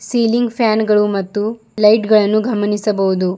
Ceiling fan ಗಳು ಮತ್ತು light ಗಳನ್ನು ಗಮನಿಸಬಹುದು.